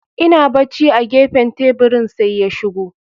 Ina barci a gefen teburin, sai ya shigo.